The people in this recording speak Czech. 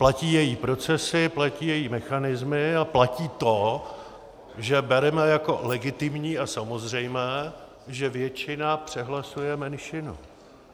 Platí její procesy, platí její mechanismy a platí to, že bereme jako legitimní a samozřejmé, že většina přehlasuje menšinu.